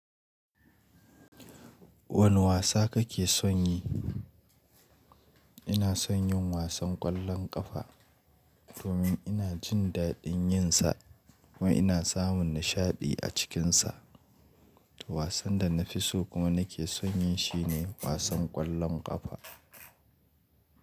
Wane wasa kake son yi? Ina son yin wasan ƙwallon ƙafa domin ina jin daɗin yin sa kuma ina samun nishaɗi a cikin sa. Wasan da na fi so kuma nake son yi shi ne wasan ƙwallon ƙafa.